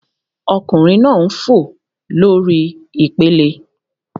Ọkunrin naa n fo lori ipele